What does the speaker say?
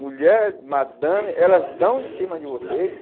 Mulher, madame, elas dão de cima de vocês.